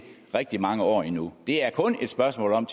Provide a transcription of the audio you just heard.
rigtig mange år endnu det er kun et spørgsmål om